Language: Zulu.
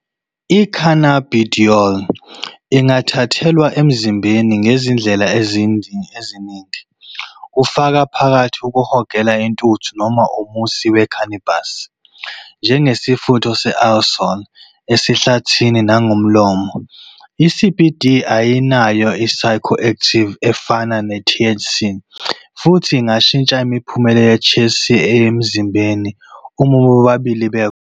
I-cannabidiol ingathathelwa emzimbeni ngezindlela eziningi, kufaka phakathi ukuhogela intuthu noma umusi we-cannabis, njengesifutho se-aerosol esihlathini, nangomlomo. I-CBD ayinayo i-psychoactivity efanayo ne-THC, futhi ingashintsha imiphumela ye-THC emzimbeni uma bobabili bekhona.